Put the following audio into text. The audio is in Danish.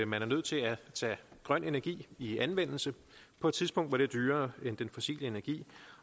man er nødt til at tage grøn energi i anvendelse på et tidspunkt hvor den er dyrere end den fossile energi